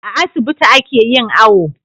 A asibiti ake yin awo